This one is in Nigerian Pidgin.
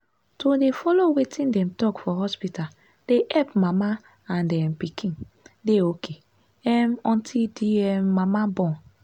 to dey follow wetin dem talk for hospita dey epp mama and um pikin dey ok um until d um mama born.